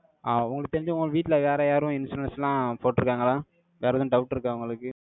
ஆ, உங்களுக்கு தெரிஞ்சு, உங்க வீட்டுல, வேற யாரும், insurance லாம் போட்டிருக்காங்களா? வேற எதுவும், doubt இருக்கா, உங்களுக்கு